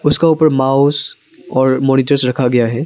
उसका उपर माउस और मॉनिटर्स रखा गया है।